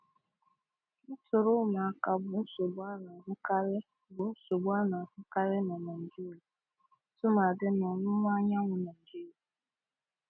Ntọrị ụmụaka bụ nsogbu ana-ahụkarị bụ nsogbu ana-ahụkarị na Naịjirịa tụmadị n'ọwụwa anyanwụ Naịjirịa.